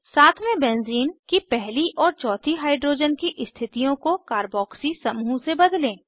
सातवें बेंज़ीन की पहली और चौथी हाइड्रोजन की स्थितियों को कारबॉक्सी समूह से बदलें